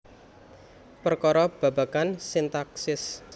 Perkara babagan sintaksis